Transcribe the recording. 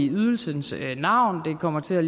ydelsens navn og det kommer til at